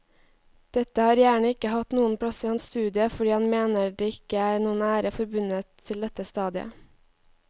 Dette har gjerne ikke hatt noen plass i hans studie fordi han mener det ikke er noen ære forbundet til dette stadiet.